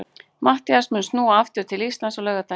Matthías mun snúa aftur til Íslands á laugardaginn.